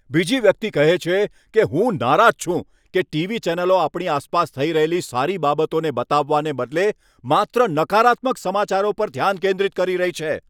બીજી વ્યક્તિ કહે છે કે, હું નારાજ છું કે ટીવી ચેનલો આપણી આસપાસ થઈ રહેલી સારી બાબતોને બતાવવાને બદલે માત્ર નકારાત્મક સમાચારો પર ધ્યાન કેન્દ્રિત કરી રહી છે.